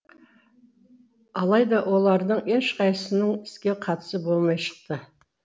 алайда олардың ешқайсысының іске қатысы болмай шықты